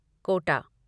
Kota